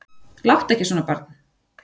Láttu ekki svona barn.